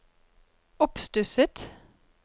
oppstusset